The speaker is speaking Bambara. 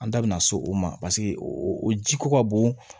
An da bina so o ma o ji ko ka bon